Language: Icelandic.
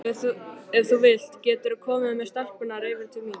Ef þú vilt geturðu komið með stelpurnar yfir til mín.